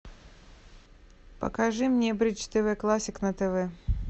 покажи мне бридж тв классик на тв